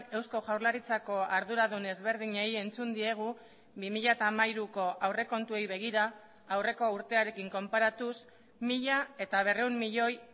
eusko jaurlaritzako arduradun ezberdinei entzun diegu bi mila hamairuko aurrekontuei begira aurreko urtearekin konparatuz mila berrehun milioi